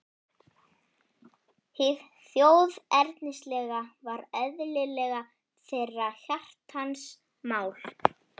Hið þjóðernislega var eðlilega þeirra hjartans mál.